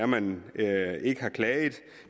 man ikke har klaget